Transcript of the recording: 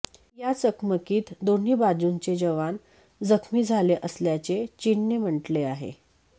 या चकमकीत दोन्ही बाजूंचे जवान जखमी झाले असल्याचे चीनने म्हटले आहे